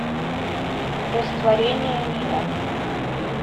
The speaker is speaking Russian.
растворение мира